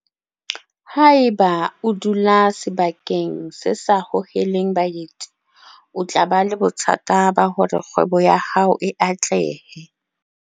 Haeba o dula sebakeng se sa hoheleng baeti o tla ba le bothata ba hore kgwebo ya hao e atlehe.